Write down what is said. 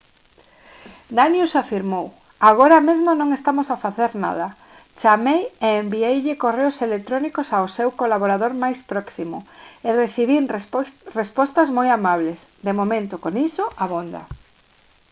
danius afirmou: «agora mesmo non estamos a facer nada. chamei e envieille correos electrónicos ao seu colaborador máis próximo e recibín respostas moi amables. de momento con iso abonda»